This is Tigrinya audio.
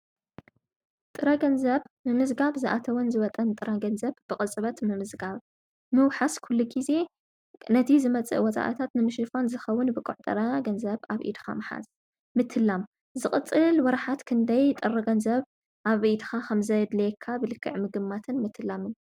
ጥረ ገንዘብ ብመልክዕ ሳንቲምን ኖትን ገንዘብ እዩ። ንኣቑሑትን ኣገልግሎታትን ቅልጡፍ ክፍሊት ዝውዕል እዩ። ጥረ ገንዘብ ባንክታት ወይ ኤሌክትሮኒካዊ ስርዓታት ምጥቃም ኣየድልዮን እዩ።